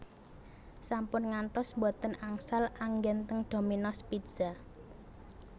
Sampun ngantos mboten angsal anggen teng Dominos Pizza